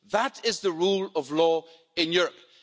That is the rule of law in Europe.